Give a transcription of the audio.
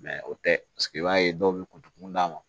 o tɛ i b'a ye dɔw bɛ ku d'a ma